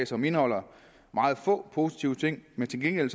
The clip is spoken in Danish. som indeholder meget få positive ting men til gengæld